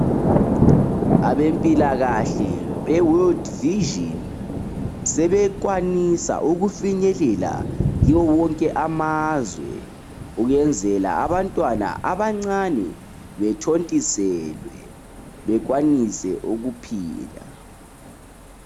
Abempilakahle be"World Vision" sebekwanisa ukufinyelela kiwo wonke amazwe ukwenzela abantwana abancane bethontiselwe bekwanise ukuphila.